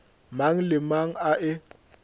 mang le mang a e